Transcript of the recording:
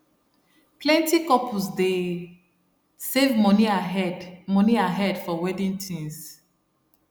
plenty couples dey save money ahead money ahead for wedding things